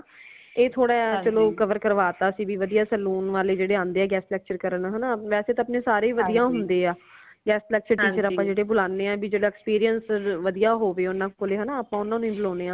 ਏ ਥੋੜਾ ਚਲੋ ਕਵਰ ਕਰਵਾ ਤਾ ਸੀ ਭੀ ਵਦੀਆ saloon ਵਾਲੇ ਜੇੜੇ ਆਂਦੇ ਹਾ ਜੇੜੇ guest lecture ਕਰਨ ਹਨਾ ਵੈਸੇ ਤੇ ਆਪਣੇ ਸਾਰੇ ਵਦੀਆ ਹੁੰਦੇ ਹਾ guest lecture teacher ਜੇੜੇ ਆਪਾ ਬੁਲਾਣੇ ਹਾਂ ਭਾਈ experience ਵਦੀਆ ਹੋਵੇ ਓਨਾ ਕੋਲੇ ਹਨਾ ਆਪਾ ਓਨਾ ਨੂ ਹੀ ਬਲੋਨੇ ਹਾਂ।